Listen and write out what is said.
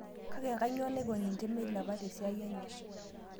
Kake kanyoo naiko ninye meilepa tesiai enye